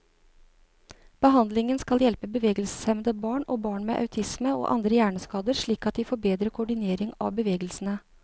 Behandlingen skal hjelpe bevegelseshemmede barn, og barn med autisme og andre hjerneskader slik at de får bedre koordinering av bevegelsene.